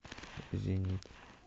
зенит